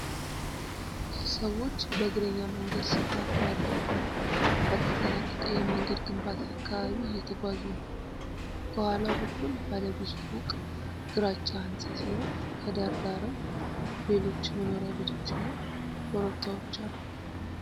ሰዎች በእግረኛ መንገድ ስፋት ባለው ባልተጠናቀቀ የመንገድ ግንባታ አካባቢ እየተጓዙ ነው። ከኋላ በኩል ባለ ብዙ ፎቅ ግራጫ ህንፃ ሲኖር፣ ከዳር ዳርም ሌሎች መኖሪያ ቤቶችና ኮረብታዎች አሉ።